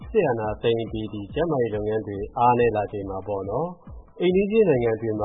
စစ်အာဏာသိမ်းအပြီး ကျန်းမာရေးလုပ်ငန်းတွေ ပုံမှန်မလည်ပတ်နိုင်ချိန်မှာ၊ အိမ်နီးချင်းနိုင်ငံတွေမှ